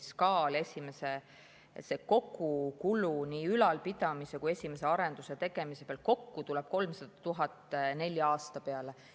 SKA‑l see kogukulu nii ülalpidamise kui ka esimese arenduse tegemise pealt kokku tuleb 300 000 nelja aasta peale.